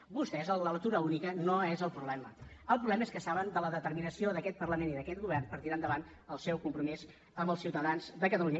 per vostès el de la lectura única no és el problema el problema és que saben de la determinació d’aquest parlament i d’aquest govern per tirar endavant el seu compromís amb els ciutadans de catalunya